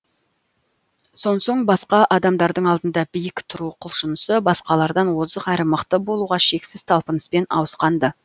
сонсоң басқа адамдардың алдында биік тұру құлшынысы басқалардан озық әрі мықты болуға шексіз талпыныспен ауысқан ды